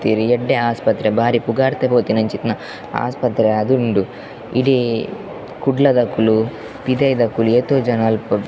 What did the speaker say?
ಎಡ್ಡೆ ಆಸ್ಪತ್ರೆ ಬಾರಿ ಪುಗಾರ್ದ್ ಪೋತಿನ ಅಂಚಿತ್ತಿನ ಆಸ್ಪತ್ರೆ ಆದ್ ಉಂಡು ಇಡೀ ಕುಡ್ಲದಕುಲು ಪಿದಯ್ದಕುಲು ಏತೊ ಜನ ಅಲ್ಪ .